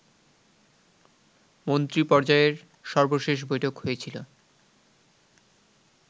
মন্ত্রীপর্যায়ের সর্বশেষ বৈঠক হয়েছিল